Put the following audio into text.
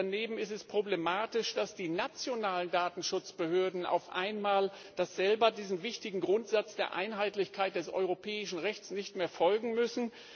Daneben ist es problematisch, dass die nationalen Datenschutzbehörden auf einmal selber diesem wichtigen Grundsatz der Einheitlichkeit des europäischen Rechts nicht mehr folgen müssen.